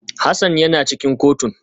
Hassan yana cikin kotun